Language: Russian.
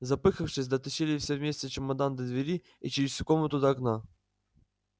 запыхавшись дотащили все вместе чемодан до двери и через всю комнату до окна